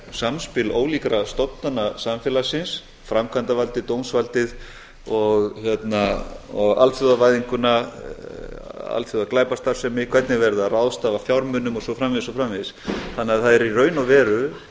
samspil ólíkra stofnana samfélagsins framkvæmdarvaldið dómsvaldið og alþjóðavæðinguna alþjóðaglæpastarfsemi hvernig er verið að ráðstafa fjármunum og svo framvegis og svo framvegis það er því í raun og veru í